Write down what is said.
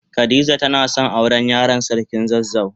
Khadijah tana son ta aure Yaran sarkin zazzau.